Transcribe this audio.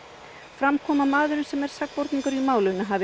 fram kom að maðurinn sem er sakborningur í málinu hafi